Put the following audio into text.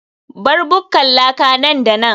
bar bukkar laka nan da nan